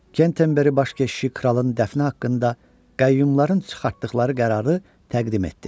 Kent təmbəri baş keşişi kralın dəfni haqqında qəyyumların çıxartdıqları qərarı təqdim etdi.